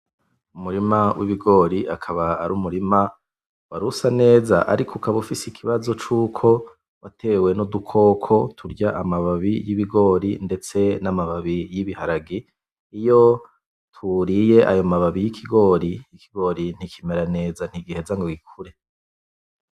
Umurima w'ibigori akaba ari umurima warusa neza ariko ukaba ufise ikibazo cuko watewe n'udukoko turya amababi yibigori ndetse n'amababi y'ibiharage iyo tuwuriye ayo mababi y'ikigori ikigori ntikimera neza ntigiheza ngo gikure .